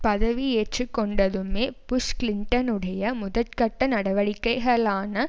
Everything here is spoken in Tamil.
பதிவியேற்று கொண்டதுமே புஷ் கிளின்டனுடைய முதற்கட்ட நடவடிக்கைகளான